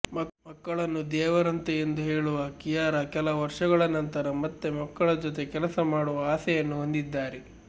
ಮಕ್ಕಳನ್ನು ದೇವರಂತೆ ಎಂದು ಹೇಳುವ ಕಿಯಾರಾ ಕೆಲ ವರ್ಷಗಳ ನಂತರ ಮತ್ತೆ ಮಕ್ಕಳ ಜೊತೆ ಕೆಲಸ ಮಾಡುವ ಆಸೆಯನ್ನು ಹೊಂದಿದ್ದಾರೆ